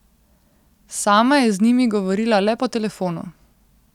Sama je z njimi govorila le po telefonu.